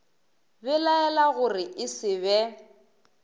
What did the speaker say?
belaela gore e se be